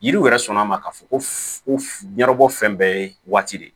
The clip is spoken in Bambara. Yiriw yɛrɛ sɔnna ma k'a fɔ ko ɲɛnɛ bɔ fɛn bɛɛ ye waati de ye